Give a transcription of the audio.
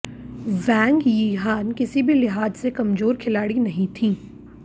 वैंग Yihan किसी भी लिहाज से कमजोर खिलाड़ी नहीं थीं